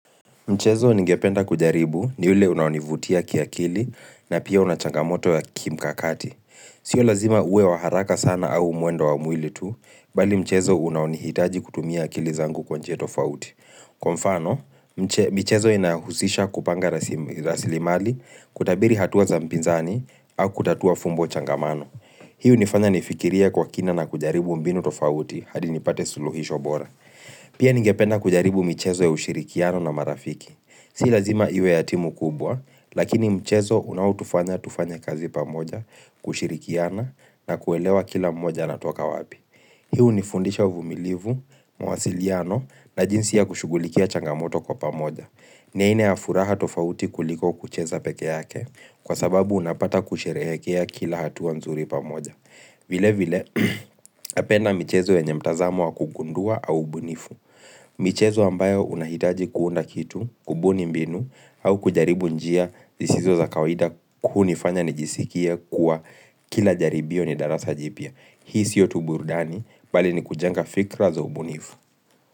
Mchezo ngependa kujaribu ni ule unao nivutia kia akili na pia una changamoto ya kimkakati. Sio lazima uwe wa haraka sana au mwendo wa mwili tu, mbali mchezo unaonihitaji kutumia kili zangu kwa nje tofauti. Kwa mfano, mchezo inahusisha kupanga rasili mali kutabiri hatuwa za mpinzani au kutatua fumbo changamano. Hii nifanya nifikiria kwa kina na kujaribu mbinu tofauti hadi nipate suluhisho bora. Pia ningependa kujaribu michezo ya ushirikiano na marafiki. Si lazima iwe ya timu kubwa, lakini mchezo unao tufanya tufanye kazi pamoja, kushirikiana na kuelewa kila mmoja anatoka wapi. Hu ni fundisha uvumilivu, mawasiliano na jinsi ya kushughulikia changamoto kwa pamoja. Ni aina ya furaha tofauti kuliko kucheza peke yake kwa sababu unapata kusherehekea kila hatuwa mzuri pamoja. Vile vile, napenda michezo yenye mtazamo wa kugundua au ubunifu. Michezo ambayo unahitaji kuunda kitu, kubuni mbinu, au kujaribu njia zisizo za kawaida hunifanya ni jisikie kuwa kila jaribio ni darasa jipya. Hii siyo tu burudani, mbali ni kujenga fikra za ubunifu.